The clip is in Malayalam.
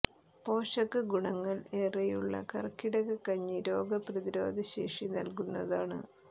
പോഷക ഗുണങ്ങൾ ഏറെയുള്ള കർക്കിടക കഞ്ഞി രോഗ പ്രതിരോധ ശേഷി നല്കുന്നതാണ്